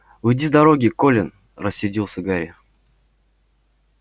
уйди с дороги колин рассердился гарри